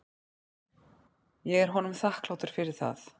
Ég er honum þakklátur fyrir það.